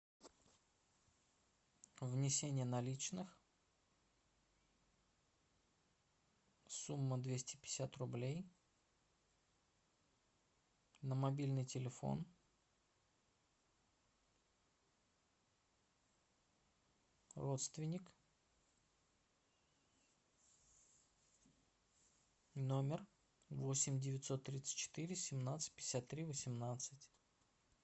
внесение наличных сумма двести пятьдесят рублей на мобильный телефон родственник номер восемь девятьсот тридцать четыре семнадцать пятьдесят три восемнадцать